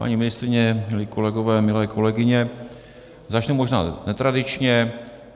Paní ministryně, milí kolegové, milé kolegyně, začnu možná netradičně.